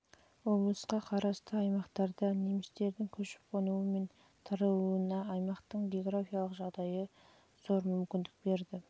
облысқа қарысты аймақтарда немістерді көшіп-қонуы мен таралуына аймақтың георгафиялық жағдайы зор мүмкіндік берді